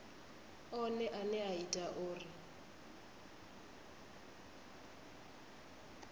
one ane a ita uri